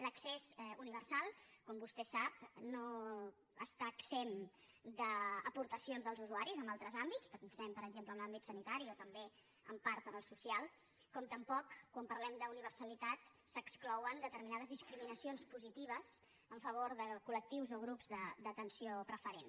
l’accés uni·versal com vostè sap no està exempt d’aportacions dels usuaris en altres àmbits pensem per exemple en l’àm·bit sanitari o també en part en el social com tampoc quan parlem d’universalitat s’exclouen determinades discriminacions positives en favor de col·lectius o grups d’atenció preferent